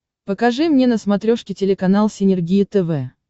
покажи мне на смотрешке телеканал синергия тв